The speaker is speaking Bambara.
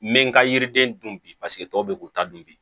N bɛ n ka yiriden dun bi paseke tɔw bɛ k'u ta dun bi